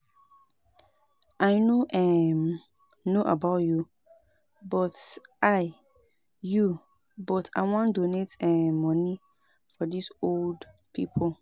I no um know about you but I you but I wan donate um money for dis old people